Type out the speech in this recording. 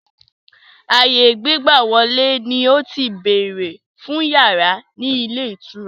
Ààyè gbígbàwọ̀lè ni ó ti béèrè fún yàrá ni ilé ìtura.